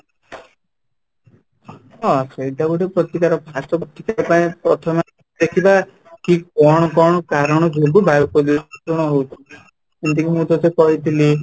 ହଁ , ସେଇଟା ବି ଗୋଟେ ପ୍ରତିକାର ପ୍ରଥମେ ଦେଖିବା କି କ'ଣ କ'ଣ କାରଣ ଯୋଗୁଁ ବାୟୁ ପ୍ରଦୂଷଣ ହଉଛି, ଯେମିତିକି କି ମୁଁ ତତେ କହିଥିଲି